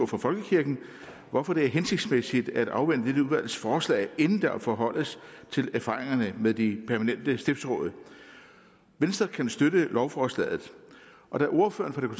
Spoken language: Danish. for folkekirken hvorfor det er hensigtsmæssigt at afvente dette udvalgs forslag inden man forholder sig til erfaringerne med de permanente stiftsråd venstre kan støtte lovforslaget og da ordføreren for det